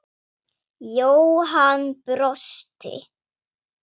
Jóhann brosti.